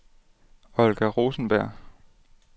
Olga Rosenberg